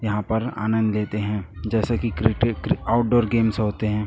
यहाॅं पर आनंद लेते हैं जैसे कि क्रिके क्रि आउटडोर गेम्स होते हैं।